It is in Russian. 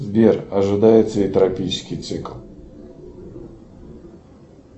сбер ожидается ли тропический цикл